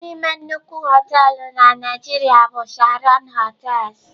Otu n'ime nnukwu họteelụ na Nigeria bụ Sheraton hotels.